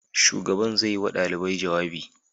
Shugaban zai yi wa ɗalibai jawabi.